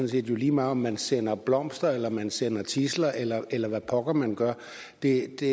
set lige meget om man sender blomster eller om man sender tidsler eller eller hvad pokker man gør det